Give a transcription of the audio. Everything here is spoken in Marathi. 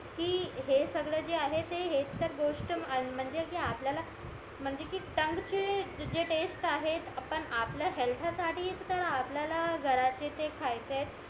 कि हे सगळं जे आहे ते हेच तर गोष्ट म्हणजे कि आपल्याला म्हणजे कि टंग चे जे टेस्ट आहे आपण आपल्या हेअल्थ साठीच तर आपल्याला घारातले ते खायचेत